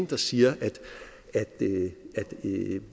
der siger at